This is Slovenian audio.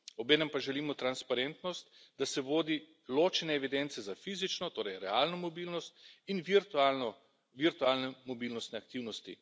Obenem pa želimo transparentnost, da se vodi ločene evidence za fizično, torej realno mobilnost, in virtualne mobilnostne aktivnosti.